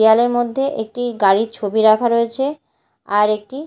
দেয়ালের মধ্যে একটি গাড়ির ছবি রাখা রয়েছে আর একটি--